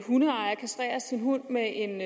hundeejer kastrerer sin hund med en